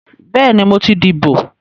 Bẹ́ẹ̀ni, mo ti dìbò